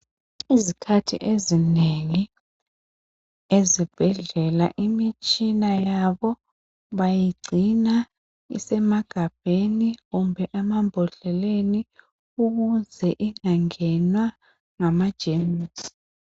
Izikhathi ezinengi ezibhedlela imitshina yabo bayigcina isemagabheni kumbe amambodleleni ukuze ingangenwa ngamajemusi.